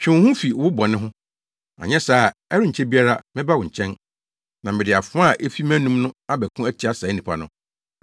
Twe wo ho fi wo bɔne ho. Anyɛ saa a, ɛrenkyɛ biara mɛba wo nkyɛn, na mede afoa a efi mʼanom no abɛko atia saa nnipa no.